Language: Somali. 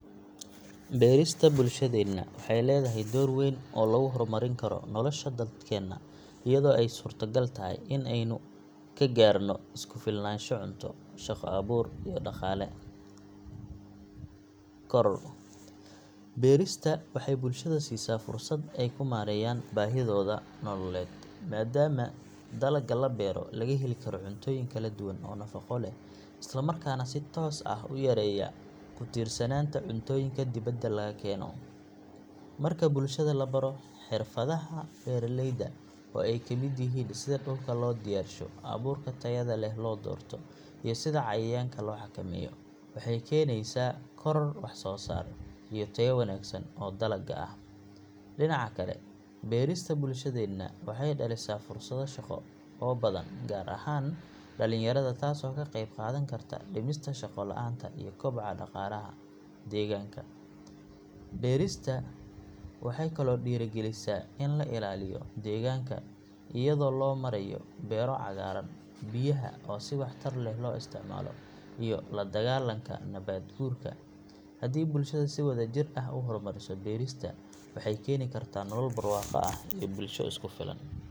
Beerista bulshadeena waxay leedahay door weyn oo lagu hormarin karo nolosha dadkeenna iyadoo ay suurtogal tahay in aynu ka gaadhno isku filnaansho cunto, shaqo abuur iyo dhaqaale korodh. Beerista waxay bulshada siisaa fursad ay ku maareeyaan baahidooda nololeed maadaama dalagga la beero laga heli karo cuntooyin kala duwan oo nafaqo leh isla markaana si toos ah u yareeya ku tiirsanaanta cuntooyinka dibadda laga keeno. Marka bulshada la baro xirfadaha beeraleyda oo ay ka mid yihiin sida dhulka loo diyaarsho, abuurka tayada leh loo doorto, iyo sida cayayaanka loo xakameeyo waxay keenaysaa koror wax soo saar iyo tayo wanaagsan oo dalagga ah. Dhinaca kale, beerista bulshadeena waxay dhalisaa fursado shaqo oo badan gaar ahaan dhalinyarada taasoo ka qeyb qaadan karta dhimista shaqo la’aanta iyo kobaca dhaqaalaha deegaanka. Beerista waxay kaloo dhiirrigelisaa in la ilaaliyo deegaanka iyadoo loo marayo beero cagaaran, biyaha oo si waxtar leh loo isticmaalo iyo la dagaallanka nabaad guurka. Haddii bulshada si wadajir ah u horumariso beerista waxay keeni kartaa nolol barwaaqo ah iyo bulsho isku filan.